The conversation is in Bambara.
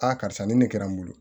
Aa karisa nin ne kɛra n bolo